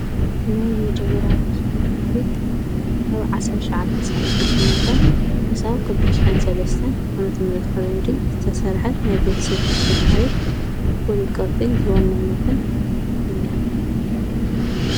ናይ መጀመራ ተሽከርካሪት ካብ ዓሰርተሽሞንተ ሳላስንሸምሞንተን ክሳዊ ተተሽሐን ሠለስትን መመትምረት ፈሬንዲ ዝተሠርሐት ናይ ቤት ስብ ተሽክርካሪት ቱል ቅርጢ ዘወነነትን እያ።